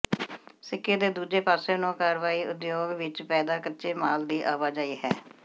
ਸਿੱਕੇ ਦੇ ਦੂਜੇ ਪਾਸੇ ਨੂੰ ਕਾਰਵਾਈ ਉਦਯੋਗ ਵਿੱਚ ਪੈਦਾ ਕੱਚੇ ਮਾਲ ਦੀ ਆਵਾਜਾਈ ਹੈ